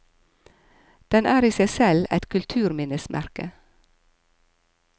Den er i seg selv et kulturminnesmerke.